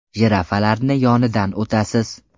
Jirafalarni yonidan o‘tasiz.